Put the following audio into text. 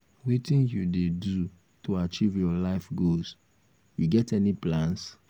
wetin you um dey do to achieve your life goals you get any plans?